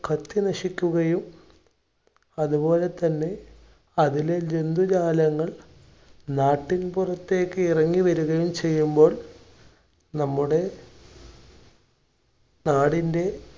കത്തി നശിക്കുകയും, അതുപോലെതന്നെ അതിലെ ജന്തുജാലങ്ങൾ നാട്ടിൻപുറത്തേക്ക് ഇറങ്ങി വരികയും ചെയ്യുമ്പോൾ നമ്മുടെ നാടിന്‍റെ